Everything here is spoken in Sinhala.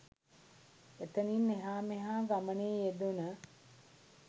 එතනින් එහාමෙහා ගමනේ යෙදුන